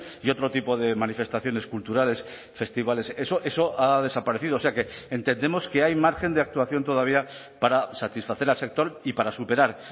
y otro tipo de manifestaciones culturales festivales eso eso ha desaparecido o sea que entendemos que hay margen de actuación todavía para satisfacer al sector y para superar